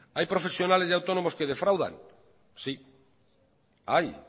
hay profesionales y autónomos que defraudan sí hay